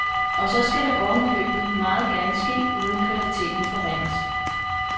Og så skal det oven i købet meget gerne ske uden at kvaliteten forringes.